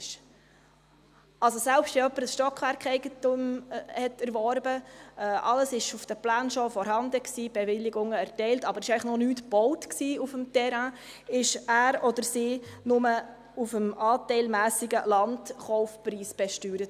Selbst wenn jemand ein Stockwerkeigentum erwarb, also alles auf den Plänen bereits vorhanden war, die Bewilligungen erteilt waren, aber noch nichts auf dem Terrain gebaut war, wurde er oder sie nur aufgrund des anteilmässigen Landpreises besteuert.